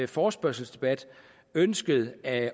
forespørgselsdebat ønsket at